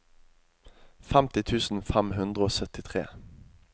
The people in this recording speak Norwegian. femti tusen fem hundre og syttitre